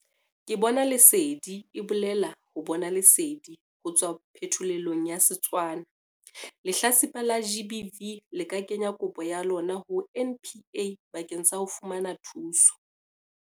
Ke Bona Lesedi e bolela 'ho bona lesedi' ho tswa phetholelong ya Setswana. Lehlatsipa la GBV le ka kenya kopo ya lona ho NPA bakeng sa ho fumana thuso.